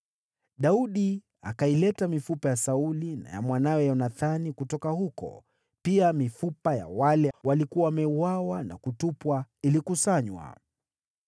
Daudi akaileta mifupa ya Sauli na ya mwanawe Yonathani kutoka huko, pia mifupa ya wale waliokuwa wameuawa na kutupwa ilikusanywa.